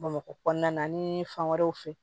Bamakɔ kɔnɔna na ni fan wɛrɛw fɛ